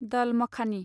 दल माखानि